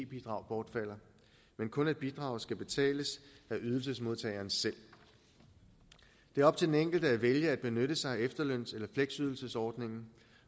bidrag bortfalder men kun at bidraget skal betales af ydelsesmodtageren selv det er op til den enkelte at vælge at benytte sig af efterløns eller fleksydelsesordningen